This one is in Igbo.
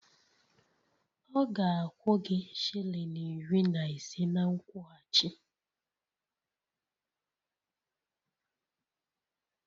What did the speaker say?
Ọ ga-akwụ gị shilling iri na ise na nkwụghachi